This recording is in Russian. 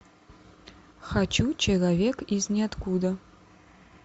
хочу человек из ниоткуда